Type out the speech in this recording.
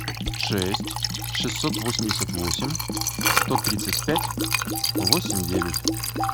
шесть шестьсот восемьдесят восемь сто тридцать пять восемь девять